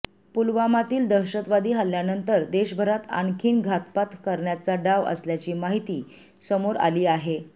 पुलवामातील दहशतवादी हल्ल्यानंतर देशभरात आणखी घातपात करण्याचा डाव असल्याची माहिती समोर आली आहे